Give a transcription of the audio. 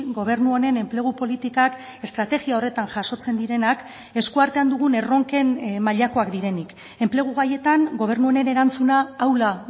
gobernu honen enplegu politikak estrategia horretan jasotzen direnak eskuartean dugun erronken mailakoak direnik enplegu gaietan gobernu honen erantzuna ahula